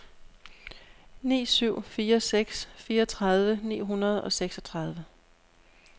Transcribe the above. ni syv fire seks fireogtredive ni hundrede og seksogtredive